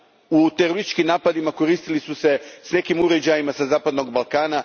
U terorističkim napadima koristili su se nekim uređajima sa zapadnog Balkana.